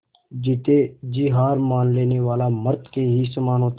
जीते जी हार मान लेने वाला मृत के ही समान होता है